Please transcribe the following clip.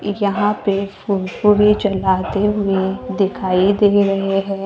यहां पे फुरफुरी जलाते हुए दिखाई दे रहे हैं।